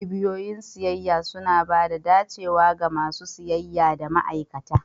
Cibiyoyin siyayya suna ba da dacewa ga masu siyayya da ma'aikata.